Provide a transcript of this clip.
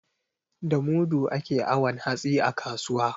Da mudu ake awon hatsi a kasuwa.